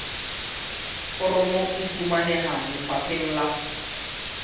foromo e fumaneha lefapheng la